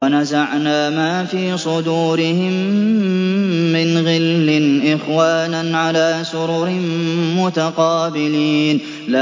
وَنَزَعْنَا مَا فِي صُدُورِهِم مِّنْ غِلٍّ إِخْوَانًا عَلَىٰ سُرُرٍ مُّتَقَابِلِينَ